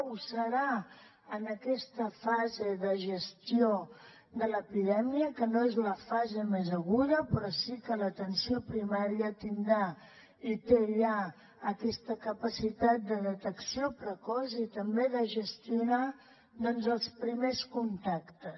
ho serà en aquesta fase de gestió de l’epidèmia que no és la fase més aguda però sí que l’atenció primària tindrà i té ja aquesta capacitat de detecció precoç i també de gestionar doncs els primers contactes